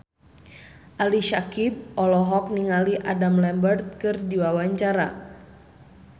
Ali Syakieb olohok ningali Adam Lambert keur diwawancara